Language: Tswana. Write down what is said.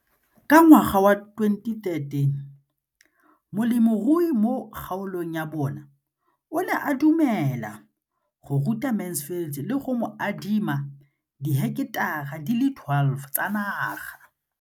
Ka ngwaga wa 2013, molemirui mo kgaolong ya bona o ne a dumela go ruta Mansfield le go mo adima di heketara di le 12 tsa naga.